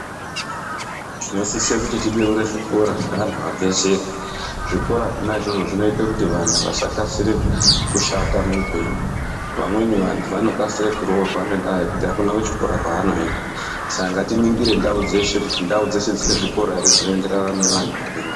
Tinosisa kuti tibeure zvikora zvaantu abvezere . Zvikora zvona izvozvo zvinoita kuti vantu vasakasira kushata muupenyu. Vamweni antu anokasira kuroorwa ngendaa yekuti akuna kuchikora kwaanoenda . Saka ngatiningire ndau dzeshe, kuti ndau dzeshe dzinezvikora ere zvinoenderana neantu arimwo